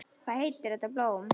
Hvað heitir þetta blóm?